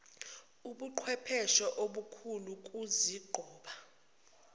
ubuqhwepheshe obukhulu ukuzinqoba